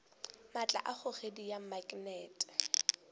maatla a kgogedi bja maknete